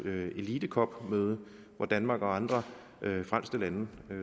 elite cop møde hvor danmark og andre frelste lande